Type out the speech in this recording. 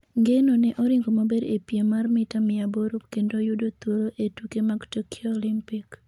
Ng'eno ne oringo maber ee piem mar mita mia aboro kendo yudo thuolo e tuke mag Tokyo Olympic